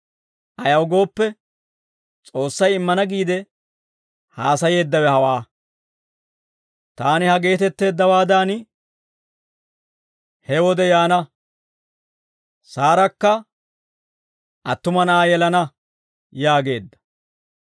Ayaw gooppe, S'oossay immana giide haasayeeddawe hawaa; «Taani ha geetetteeddawaadan he wode yaana; Saarakka attuma na'aa yelana» yaageedda.